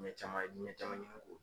caman caman